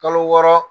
Kalo wɔɔrɔ